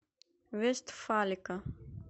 вестфалика